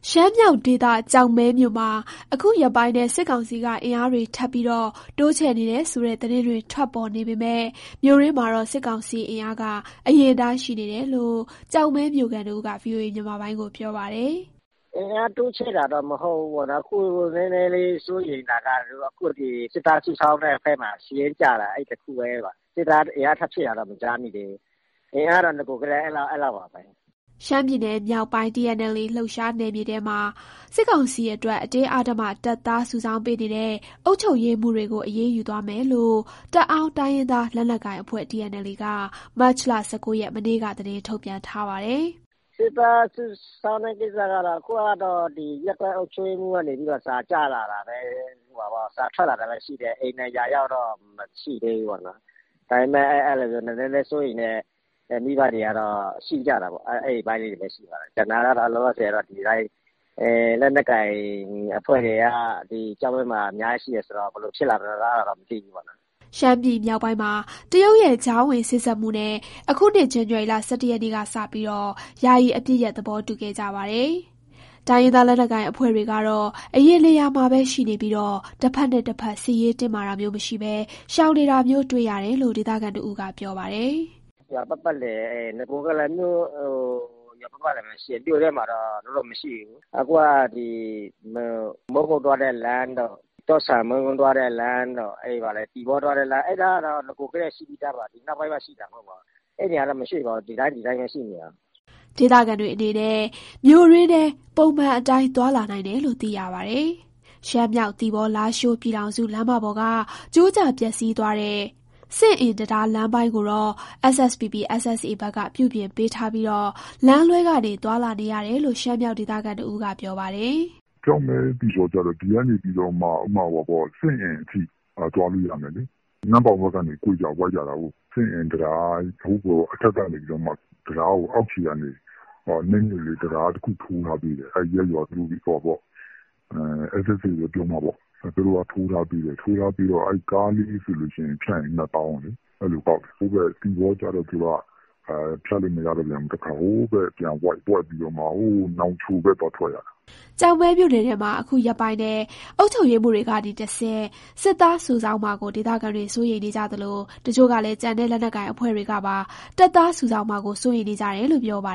ရှမ်းမြောက်ဒေသ ကျောက်မဲမြို့မှာ အခုရက်ပိုင်းထဲ စစ်ကောင်စီက အင်အားတွေ ထပ်ပြီး တိုးချဲ့နေတယ်ဆို သတင်းတွေ ထွက်ပေါ်နေပေမယ့် မြို့တွင်းမှာတော့ စစ်ကောင်စီအင်အားက အရင်အတိုင်းရှိနေတယ်လို့ ကျောက်မဲမြို့ခံတဦးက ဗွီအိုအေကို ပြောပါတယ်။ "အင်အားတိုးချဲ့တာတော့ မဟုတ်ဘူးပေါ့နော်။ အခု နည်းနည်းစိုးရိမ်တာက စစ်သားစုဆောင်းတဲ့ဘက်မှာ စစ်ရေးပြတာပါ။ စစ်သားအင်အား ထပ်ဖြည့်တာတော့ မကြားမိသေးဘူး။ အင်အားကတော့ နဂိုကတည်းက အဲလောက်ပါပဲ။" ရှမ်းပြည်နယ်မြောက်ပိုင်း၊ TNLA လှုပ်ရှားနယ်မြေထဲမှာ စစ်ကောင်စီအတွက် အတင်းအဓမ္မ တပ်သားစုဆောင်းပေးနေတဲ့ အုပ်ချုပ်ရေးမှူးတွေကို အရေးယူသွားမယ်လို့ တအာင်းတိုင်းရင်းသား လက်နက်ကိုင်အဖွဲ့ TNLA က မတ်လ ၁၉ ရက်၊ မနေ့က သတင်းထုတ်ပြန်ထားပါတယ်။ "စစ်သားစုဆောင်းတဲ့ ကိစ္စကတော့ အခုက ရပ်ကွက်အုပ်ချုပ်ရေးမှူးက နေပြီးတော့ စာထွက်လာတာပဲ ရှိသေးတယ်။ အိမ်တိုင်ရာရောက်တော့ မရှိသေးဘူးပေါ့။ ဒါပေမဲ့ စိုးရိမ်တဲ့မိဘတွေကတော့ ရှိကြတာပေါ့။ ကျန်တာကတော့ လက်နက်ကိုင်အဖွဲ့တွေက ကျောက်မဲမှာ အများကြီး ရှိတာဆိုတော့ ဘယ်လိုဖြစ်လာမလဲတော့ မသိဘူးပေါ့။" ရှမ်းပြည်မြောက်ပိုင်းမှာ တရုတ်ရဲ့ ကြားဝင်စေ့စပ်မှုနဲ့ အခုနှစ် ဇန်နဝါရီလ ၁၁ ရက်နေ့ကစပြီး ယာယီအပစ်ရပ် သဘောတူခဲ့ကြပါတယ်။ တိုင်းရင်းသားလက်နက်ကိုင် အဖွဲ့တွေကတော့ အရင်နေရာမှာပဲ ရှိနေပြီး၊ တဖက်နဲ့တဖက် စစ်ရေးတင်းမာတာမျိုး မရှိဘဲ ရှောင်နေတာမျိုး တွေ့ရတယ်လို့ ဒေသခံတဦးက ပြောပါတယ်။ "နဂိုကတည်းက ရွာပတ်ပတ်လည်မှာပဲ ရှိတယ်။ မြို့ထဲမှာတော့ သူတို့မရှိဘူး။ မိုးကုတ်သွားတဲ့ လမ်း၊ တော့ဆန်၊ မုန်းကိုးသွားတဲ့ လမ်းတို့၊ သီပေါသွားတဲ့လမ်းတို့ အဲဒီလမ်းတွေမှာက နဂိုကတည်းက ရှိပြီးသားပါ။ ဒီနောက်ပိုင်းမှ ရှိတာမဟုတ်ပါဘူး။ အဲဒီနေရာတွေကနေ မရွှေ့ပါဘူး။ ဒီအတိုင်းပဲ ရှိနေကြတာပါ။" ဒေသခံတွေအနေနဲ့ မြို့တွင်းထဲ ပုံမှန်အတိုင်း သွားလာနိုင်တယ်လို့ သိရပါတယ်။ ရှမ်းမြောက် သီပေါ-လားရှိုး ပြည်ထောင်စုလမ်းမပေါ်က ကျိုးကျပျက်စီးသွားတဲ့ စဉ့်အင်တံတား လမ်းပိုင်းကိုတော့ SSPP/SSA ဘက်က ပြုပြင်ပေးထားပြီး လမ်းလွှဲကနေ သွားလာနေရတယ်လို့ ရှမ်းမြောက်ဒေသခံတဦးက ပြောပါတယ်။ "ကျောက်မဲ-သီပေါကျတော့ စဉ့်အင်အထိ သွားလို့ရမယ်လေ။ နမ့်ပေါင်ဘက်ကနေ ကွေ့ကြ ဝိုက်ကြတာကို။ စဉ့်အင်တံတားကို အောက်ခြေကနေ တံတားတခု ထိုးထားပေးတယ်။ အဲဒီရပ်ရွာက SSA က ထိုးထားပေးတယ်။ ကားလေးတွေဖြတ်ရင် ၂ သောင်းကောက်တယ်။ သီပေါကျတော့ ဖြတ်လို့မရပြန်ဘူး။ ဟိုးဘက် ပြန်ဝိုက်ပြီးတော့မှ နောင်ချိုဘက်က သွားထွက်ရတယ်။" ကျောက်မဲမြို့နယ်ထဲမှာ အခုရက်ပိုင်းထဲ အုပ်ချုပ်ရေးမှူးတွေကတဆင့် စစ်သားစုဆောင်းမှာကို ဒေသခံတွေ စိုးရိမ်နေကြသလို၊ တချို့ကလည်း ကျန်တဲ့လက်နက်ကိုင် အဖွဲ့တွေကပါ တပ်သားစုဆောင်းမှာကို စိုးရိမ်နေကြတယ်လို့ ပြောပါ